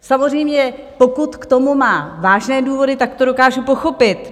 Samozřejmě, pokud k tomu má vážné důvody, tak to dokážu pochopit.